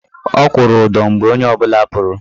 Ọ kwụrụ ụdọ mgbe onye ọbụla pụrụ.